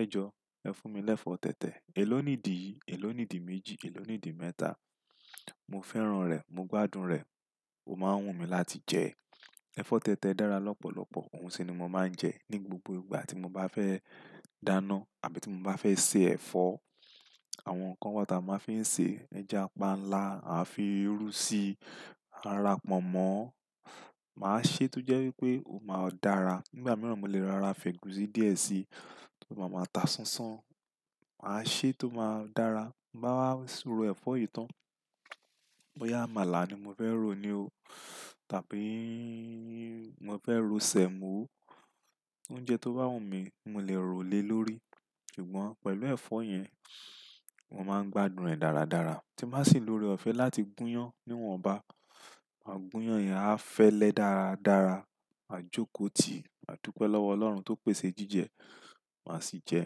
"ẹ jọ, ẹ fún mi lẹ́fọ́ tẹ̀tẹ̀, èló nìdí yìí? Èló nìdí méjì? Èló nìdí mẹ́ta?" Mo fẹ́ràn rẹ̀, mo gbádùn rẹ̀, ó máa ń wù mí láti jẹ ẹ́. Ẹ̀fọ́ tẹ̀tẹ̀ dára lọ́pọ̀lọpọ̀, òun sì ni mo máa ń jẹ ní gbogbo ìgbà tí mo bá fẹ́ dáná àbí tí mo bá fẹ́ se ẹ̀fọ́. Àwọn nǹkan wọ̀ ta mo fi ń ṣe; ẹja panla, a fi irú síi, a rà kpọ̀mọ̀, màá ṣe tó jẹ́ wípé ó máa dára. Nígbà mìíràn mo lè ro ra fẹ̀gùsì díẹ̀ síi tó maa máa ta ṣánṣán, màá ṣe tó máa dára. Mo bá wá ro ẹ̀fọ́ yìí tán, bóyá àmàlà ni mo fẹ́ rò ní o tàbí mo fẹ́ ro semo, oúnjẹ tó bá wù mí mo lè rò lé lórí. Ṣùgbọ́n pẹ̀lú ẹ̀fọ́ yẹn, mo máa ń gbádùn rẹ̀ dáradára. Tí n bá sì lò óorẹofe láti gúnyán, níwọ̀nba, maa gúnyán yẹn á fẹ́lẹ́ dáradára. Maa jóko tì, maa dúpẹ́ lọ́wọ́ Ọlọ́run tó pèsè jíjẹ, màá sì jẹ.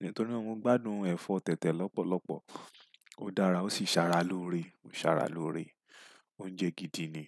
Nítorí naa mo ń gbádùn ẹ̀fọ́ tẹ̀tẹ̀ lọ́pọ̀lọpọ̀, ó dára ó sì ṣàrà lóore, ó ṣàrà lóore, oúnjẹ gidi ni.